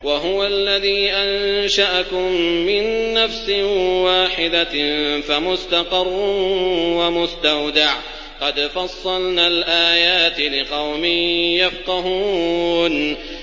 وَهُوَ الَّذِي أَنشَأَكُم مِّن نَّفْسٍ وَاحِدَةٍ فَمُسْتَقَرٌّ وَمُسْتَوْدَعٌ ۗ قَدْ فَصَّلْنَا الْآيَاتِ لِقَوْمٍ يَفْقَهُونَ